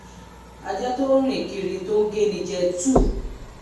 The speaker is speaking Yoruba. ajá tó ń rìn kiri tí ó géni jẹ̀ 2